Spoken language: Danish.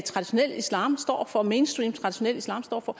traditionel islam står for hvad mainstream traditionel islam står for